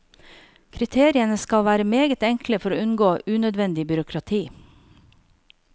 Kriteriene skal være meget enkle for å unngå unødvendig byråkrati.